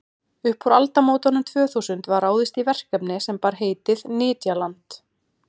upp úr aldamótunum tvö þúsund var ráðist í verkefni sem bar heitið nytjaland